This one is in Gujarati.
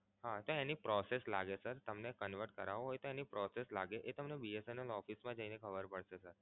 હા તો એની process લાગે sir તમને convert કરાવું હોય તો એની process લાગે એ તમને BSNL office મા જઈને ખબર પડશે sir